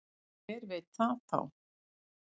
Hver veit það þá?